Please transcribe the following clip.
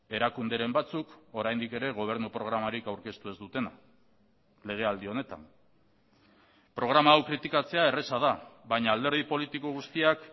erakunderen batzuk oraindik ere gobernu programarik aurkeztu ez dutena legealdi honetan programa hau kritikatzea erraza da baina alderdi politiko guztiak